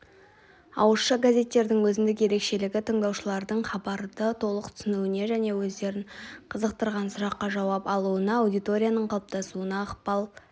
ауызша газеттердің өзіндік ерекшелігі тыңдаушылардың хабарды толық түсінуіне және өздерін қызықтырған сұраққа жауап алуына аудиторияның қалыптасуына ықпал